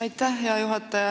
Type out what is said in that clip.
Aitäh, hea juhataja!